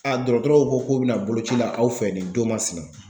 dɔrɔtɔrɔw ko k'u bi na boloci la aw fɛ nin don masina.